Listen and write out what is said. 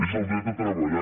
és el dret a treballar